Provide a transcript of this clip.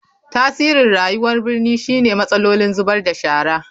Tasirin rayuwar birni shine matsalolin zubar da shara.